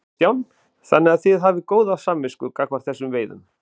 Kristján: Þannig að þið hafið góða samvisku gagnvart þessum veiðum?